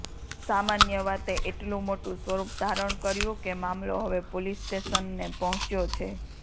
સામાન્ય વાતે એટલું મોટું સ્વરૂપ ધારણ કર્યું કે મામલો હવે પોલીસ સ્ટેશનને પહોંચ્યો છે